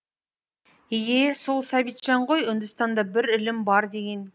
и е сол сәбитжан ғой үндістанда бір ілім бар деген